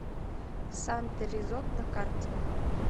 санта ризот на карте